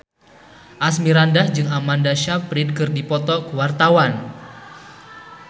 Asmirandah jeung Amanda Sayfried keur dipoto ku wartawan